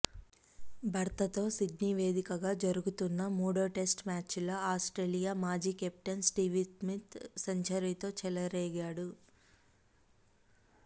భారత్తో సిడ్నీ వేదికగా జరుగుతున్న మూడో టెస్టు మ్యాచ్లో ఆస్ట్రేలియా మాజీ కెప్టెన్ స్టీవ్స్మిత్ సెంచరీతో చెలరేగాడు